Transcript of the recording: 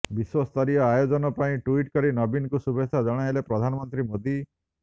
ବିଶ୍ୱସ୍ତରୀୟ ଆୟୋଜନ ପାଇଁ ଟ୍ୱିଟ୍ କରି ନବୀନଙ୍କୁ ଶୁଭେଚ୍ଛା ଜଣାଇଲେ ପ୍ରଧାନମନ୍ତ୍ରୀ ମୋଦି